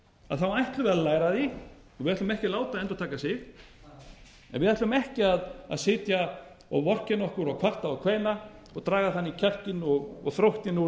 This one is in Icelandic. að þá ætlum við að læra af því og við ætlum ekki að láta það endurtaka sig en við ætlum ekki að sitja og vorkenna okkur og kvarta og kveina og draga þannig kjarkinn og þróttinn úr